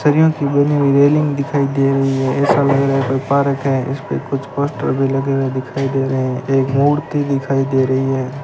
सरियों की बनी हुई रेलिंग दिखाई दे रही है ऐसा लग रहा है कोई पार्क है इसपे कुछ पोस्टर भी लगे हुए दिखाई दे रहे हैं एक मूर्ति दिखाई दे रही है।